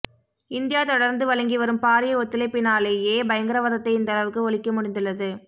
India தொடர்ந்து வழங்கிவரும் பாரிய ஒத்துழைப்பினாலேயே பயங்கரவாதத்தை இந்தளவுக்கு ஒழிக்க முடிந்துள்ளது